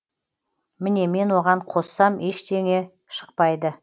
міне мен оған қоссам ештеңе шықпайды